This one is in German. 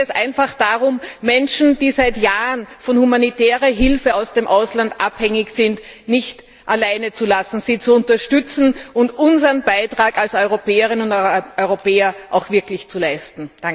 Hier geht es einfach darum, Menschen, die seit Jahren von humanitärer Hilfe aus dem Ausland abhängig sind, nicht alleine zu lassen, sie zu unterstützen und unseren Beitrag als Europäerinnen und Europäer auch wirklich zu leisten.